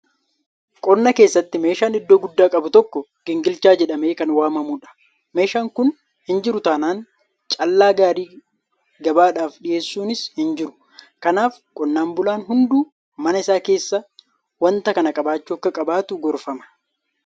Qonna keessatti meeshaan iddoo guddaa qabu tokko gingilchaa jedhamee kan waamamudha. Meeshaan kun hinjiru taanaan callaa gaarii gabaadhaaf dhiyeessuunis hinjiru. Kanaaf qonnaan bulaan hunduu mana isaa keessaa waanta kana qabaachuu akka qabutu gorfama.